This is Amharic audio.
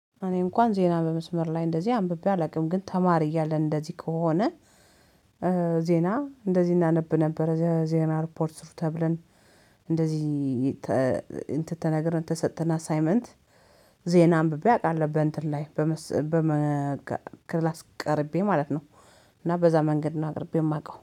እኔ እንኳን ዜና በመስመር ላይ እንደዚህ አንብቤ አላውቅም ግን ተማሪ እያለን እንደዚህ ከሆነ። ዜና እንደዚህ እናነብ ነበር የዜና ሪፖርት ጻፉ ተብለን እንደዚህ እንትን ተነግረን ተሰጥተን አሳይመንት። ዜና አንብቤ አውቃለሁ በእንትን ላይ በመስ በመ ክላስ ቀርቤ ማለት ነው። እና በዛ መንገድ እና አቅርቤ የማውቀው